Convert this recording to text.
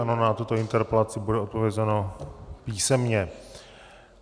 Ano, na tuto interpelaci bude odpovězeno písemně.